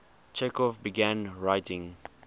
chekhov began writing